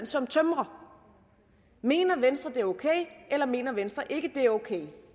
som tømrer mener venstre at det er okay eller mener venstre ikke at det er okay